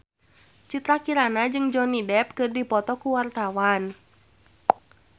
Citra Kirana jeung Johnny Depp keur dipoto ku wartawan